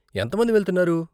ఎంత మంది వెళ్తున్నారు?